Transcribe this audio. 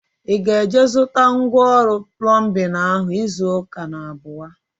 Ị ga-eje zụta ngwa ọrụ plọmbin ahu izu ụka na-abịa?